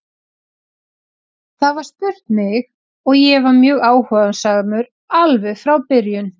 Það var spurt mig og ég var mjög áhugasamur alveg frá byrjun.